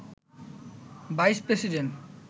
vice president